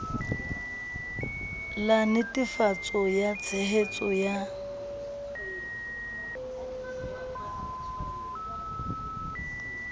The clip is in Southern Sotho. la netefatso ya tshehetso ya